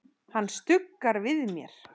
Hann stuggar við mér.